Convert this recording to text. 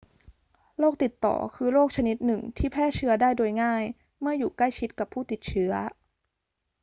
โรคติดต่อคือโรคชนิดหนึ่งที่แพร่เชื้อได้โดยง่ายเมื่ออยู่ใกล้ชิดกับผู้ติดเชื้อ